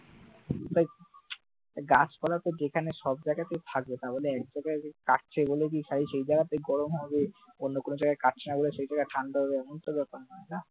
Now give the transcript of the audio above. তা গাছপালা তো যেখানে সব জায়গায় থাকে বলে এক জায়গাতে কাটছে তা সেখানেই গরম হবে আর যেখানে কাটছে না সেখানে ঠান্ডা হবে এমন তো ব্যাপার নেই না,